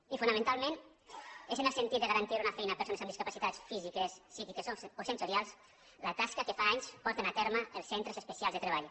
i fonamentalment és en el sentit de garantir una fei·na a persones amb discapacitats físiques psíquiques o sensorials la tasca que fa anys porten a terme els cen·tres especials de treball